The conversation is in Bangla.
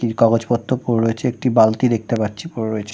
কাগজপত্র পরে রয়েছে একটি বালতি দেখতে পাচ্ছি পরে রয়েছে।